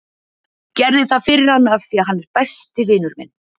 Gerði það fyrir hann af því að hann er besti vinur minn.